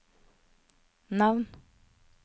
navn